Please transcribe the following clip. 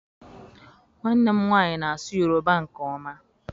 Nwannem nwanyi na-asu yoruba nke oma.